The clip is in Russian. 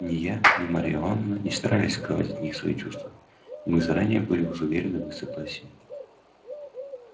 ни я ни марья ивановна не старались скрывать от них свои чувства и мы заранее были уже уверены в их согласии